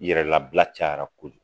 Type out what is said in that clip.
Yɛrɛ labila cayara koju